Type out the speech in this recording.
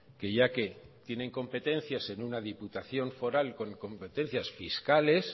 que ya que tiene competencias en una diputación foral con competencias fiscales